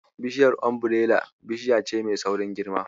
Bishiyar Umbirela bishiya ce mai saurin girma.